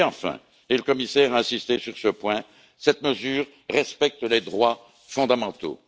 Et enfin et le commissaire a insisté sur ce point cette mesure respecte les droits fondamentaux.